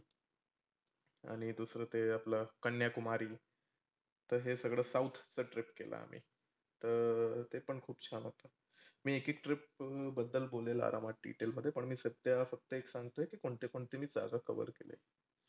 आणि दुसर ते आपलं कन्याकुमारी. तर हे सगळ south च trip केलं आम्ही. तर ते पण खुप छान होत. मी एक एक trip ब अं बद्दल बोलेन आरामात detail मध्ये पण मी सध्या एक सांगतोय की कोणते कोणते सहसा cover केले.